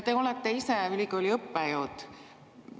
Te olete ise ülikooli õppejõud.